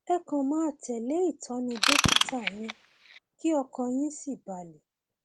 ẹ kàn máa tẹlé ìtọni dókítà yín kí ọkàn yín sì balẹ